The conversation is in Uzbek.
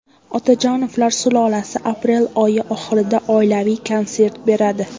Otajonovlar sulolasi aprel oyi oxirida oilaviy konsert beradi.